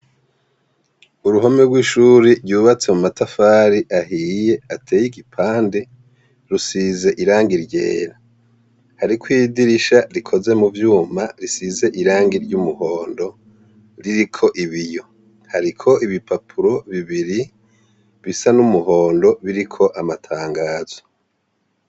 Uruhome rw’ishuri ryubatse mumatafari ahiye, atey’igipande, rusize irangi ryera. Harikw’idirisha rikoze muvyuma risize irangi ry’umuhondo ririko ibiyo. Hariko ibipapuro bibiri bisa n’umuhondo biriko amatangazo.